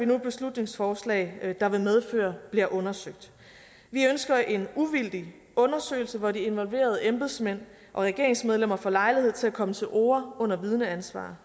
nu et beslutningsforslag der vil medføre at det bliver undersøgt vi ønsker en uvildig undersøgelse hvor de involverede embedsmænd og regeringsmedlemmer får lejlighed til at komme til orde under vidneansvar